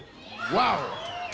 vá